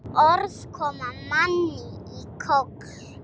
Orð koma manni í koll.